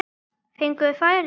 Fengum við færi?